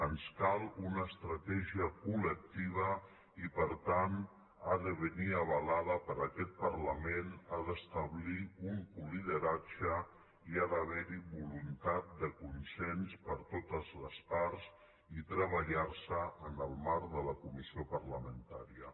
ens cal una estratègia col·nir avalada per aquest parlament ha d’establir un co·lideratge ha d’haver·hi voluntat de consens per totes les parts i treballar·se en el marc de la comissió par·lamentària